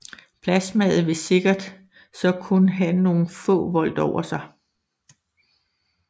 Plasmaet vil sikkert så kun have nogle få volt over sig